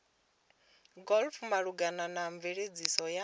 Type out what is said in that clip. glpf malugana na mveledziso ya